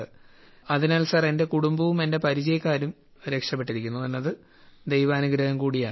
അതിനാൽ സർ എന്റെ കുടുംബവും എന്റെ പരിചയക്കാരും രോഗത്തിൽ നിന്ന് രക്ഷപ്പെട്ടിരിക്കുന്നു എന്നത് ദൈവാനുഗ്രഹം കൂടിയാണ്